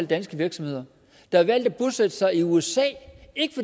danske virksomheder der har valgt at bosætte sig i usa ikke